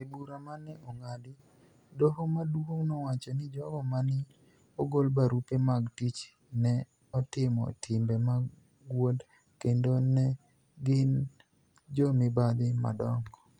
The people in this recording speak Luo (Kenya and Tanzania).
E bura ma ni e onig'ad, dohoMaduonig' nowacho nii jogo ma ni e ogol barupe mag tich ni e otimo "timbe mag wuonid" kenido ni e gini "jo mibadhi madonigo".